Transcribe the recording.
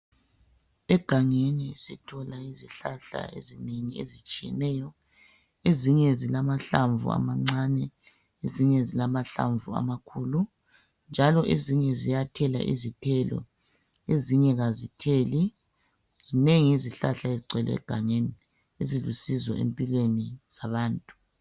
Egangeni sithola izihlahla ezinengi ezitshiyeneyo. Ezinye zilamahlamvu amancane, ezinye zilamahlamvu amakhulu, njalo ezinye ziyathela izithelo, ezinye kazitheli. Zinengi izihlahla ezigcwele egangeni ezilusizo empilweni zabantu.